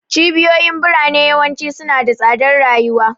Cibiyoyin birane yawanci suna da tsadar rayuwa.